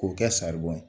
K'o kɛ saribɔn ye